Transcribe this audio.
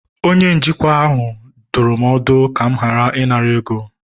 onye njikwa ahụ dụrụ m ọdụ, ka m ghara ịnara ego